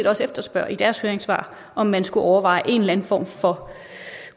også efterspørger i deres høringssvar om man skulle overveje en eller anden form for